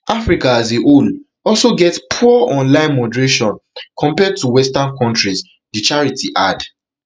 africa as a whole also get poor online moderation compared to western countries di charity add